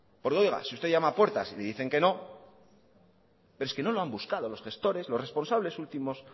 porque oiga si usted llama a puertas y le dicen que no pero es que no lo han buscado los gestores los responsables últimos